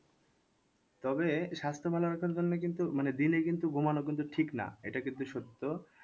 তবে স্বাস্থ্য ভালো রাখার জন্য কিন্তু মানে daily কিন্তু ঘুমানো কিন্তু ঠিক না এটা কিন্তু সত্য।